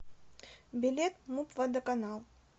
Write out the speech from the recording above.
билет муп водоканал